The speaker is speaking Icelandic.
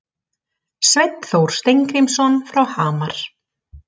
Sveinn Þór Steingrímsson frá Hamar